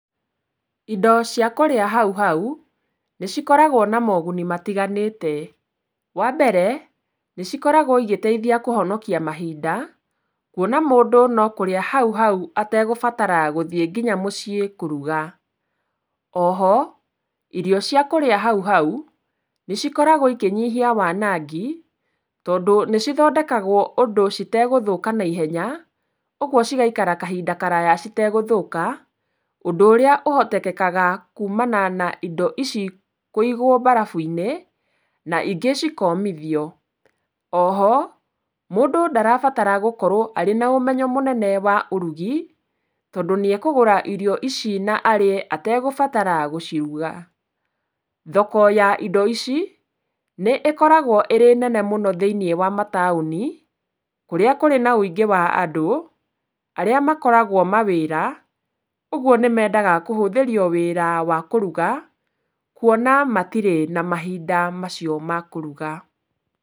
Indo cia kũrĩa hau hau nĩ cikoragwo na moguni matiganĩte, wambere nĩcikoragwo igĩteithia kũhonokia mahinda kwona mũndũ no kũrĩa hau hau ategũbatara gũthiĩ nginya mũciĩ kũruga. Oho, irio cia kũrĩa hau hau nĩ cikoragwo ikĩnyihia wanangi tondũ nĩcithondekagwo ũndũ citegũthũka na ihenya, ũgwo cigaikara kahinda karaya citegũthũka, ũndũ ũhotekekaga kuumana na indo ici kũigwo barabu-inĩ na ingĩ cikomithio. Oho mũndũ ndarabatara gũkorwo arĩ na ũmenyo mũnene wa ũrugi, tondũ nĩekũgũra irio ici na arĩe ategũbatara gũciruga. Thoko ya indo ici nĩ ĩkoragwo ĩrĩ nene mũno thĩiniĩ wa mataũni, kũrĩa kũrĩ na ũingĩ wa andũ, arĩa makoragwo mawĩra ũgwo nĩmendaga kũhũthĩrio wĩra wa kũruga kwona matirĩ na mahinda macio ma kũruga.